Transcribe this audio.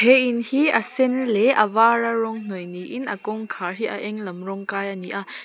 he in hi a sen leh a var a rawng hnawih niin a kawngkhar hi a eng lam rawng kai a ni a.